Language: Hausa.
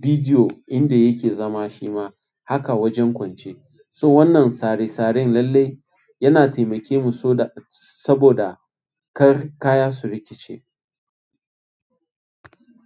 bidiyo inda yake zama shi ma haka wajen kwance. So wannan tsare tsare lallai yana temakemu saboda kar kaya su rikice.